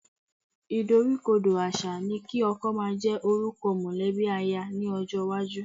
Ìdoríkodò àṣà ni kí ọkọ máa jẹ́ orúkọ mọ̀lẹ́bí aya lọ́jọ́ iwájú